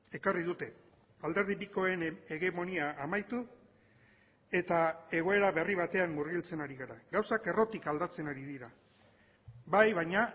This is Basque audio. ekarri dute alderdi bikoen hegemonia amaitu eta egoera berri batean murgiltzen ari gara gauzak errotik aldatzen ari dira bai baina